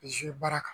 baara kan